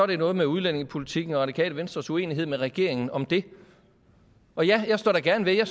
det er noget med udlændingepolitikken og det radikale venstres uenighed med regeringen om den og ja jeg står gerne ved at